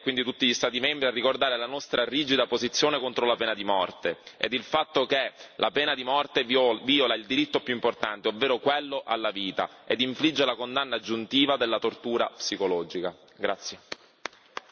Invitiamo l'Unione europea e quindi tutti gli Stati membri a ricordare la nostra rigida posizione contro la pena di morte ed il fatto che la pena di morte viola il diritto più importante, ovvero quello alla vita, ed infligge la condanna aggiuntiva della tortura psicologica.